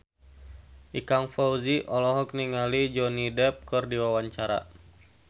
Ikang Fawzi olohok ningali Johnny Depp keur diwawancara